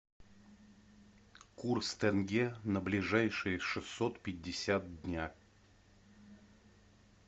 курс тенге на ближайшие шестьсот пятьдесят дня